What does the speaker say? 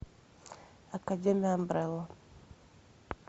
академия амбрелла